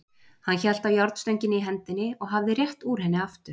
Hann hélt á járnstönginni í hendinni og hafði rétt úr henni aftur.